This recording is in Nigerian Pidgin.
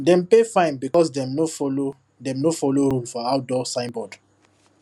dem pay fine because dem no follow dem no follow rule for outdoor signboard